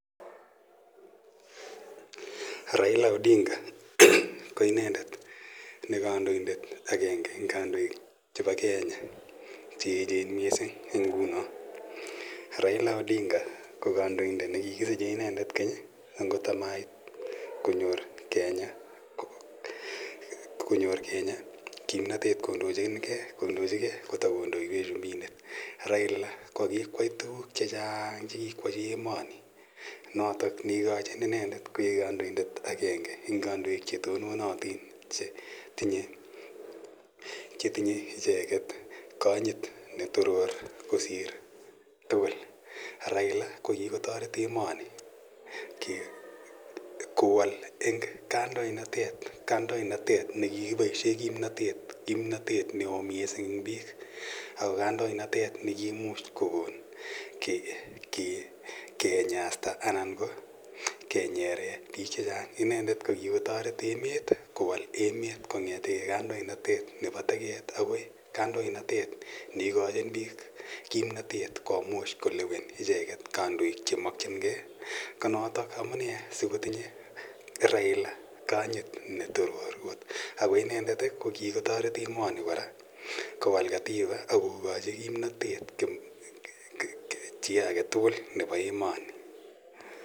Raila Odinga ki inendet ne kandoindet agenge eng' kandoik chepa Kenya che pa Kenya che echen missing' eng' nguno. Raila Odinga ko kandoindet ne kikisiche inedet keny agot amait konyor Kenya kimnatet kondochige kota kondoiwech chumbindet. Raila ko kikoyai tuguk che chang' che kokoyachi emani notok ne ikachin inendet koik kandoindet agenge eng' kadoik che tononatin che tinye icheget kanyit ne toror kosir tugul. Raila ko kikotaret emani kowal eng' kandoinatet ne kikipaishe kimnatet ne oo missing' eng' piik. Ako kandoinatet ne kiimuch kokon kenyasta anan ko kenyeren piik che chang'. Inendet ko kikotaret emet kowal emet kong'ete kandoinatet nepa teket akoi kandoinatet ne ikachin piik kimnatet komuch kolewen icheget kandoik che makchingei. Ko notok amune si kotinye Raila kanyit ne toror kot. Ako inendet ko kikotaret emani kora kowal katiba ak kokachi kimnatet chi age tugul nepa emani.